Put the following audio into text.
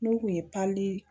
N'o kun ye palii